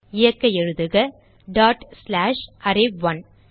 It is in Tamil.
இயக்க எழுதுக டாட் ஸ்லாஷ் அரே1